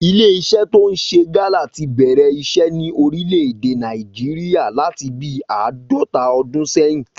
Ilé iṣẹ́ tó ń ṣe gálà tí bẹ̀rẹ̀ iṣẹ́ ní orílè èdè Nàìjíríà láti bí àádọ́ta ọdún sẹ́yìn